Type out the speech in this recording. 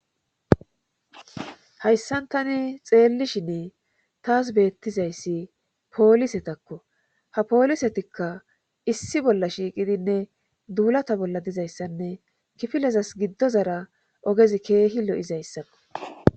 hayssan tani xeellishini taas beettizayssi poolisetakko ha poolisetikka issi bolla shiiqidinne duulata bolla dizayssanne kifilezas giddozara ogezi keehi lo'izayssakko